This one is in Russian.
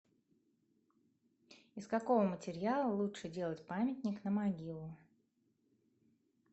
из какого материала лучше делать памятник на могилу